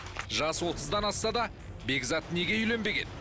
жасы отыздан асса да бекзат неге үйленбеген